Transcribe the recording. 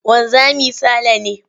Wanzami Sale ne.